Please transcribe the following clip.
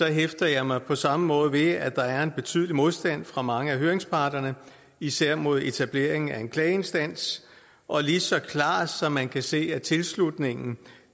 hæfter jeg mig på samme måde ved at der er en betydelig modstand fra mange af høringsparterne især mod etableringen af en klageinstans og lige så klart som man kan se at tilslutningen